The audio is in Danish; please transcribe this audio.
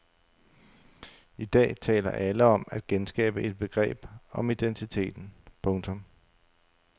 I dag taler alle om at genskabe et begreb om identiteten. punktum